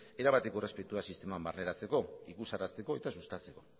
erabateko errespetua sisteman barneratzeko ikusarazteko eta sustatzeko